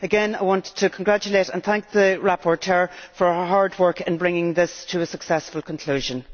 Again I want to congratulate and thank the rapporteur for her hard work in bringing this to a successful conclusion.